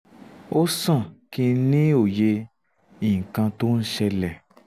ó sàn kí n ní òye nǹkan tó ń ṣẹlẹ̀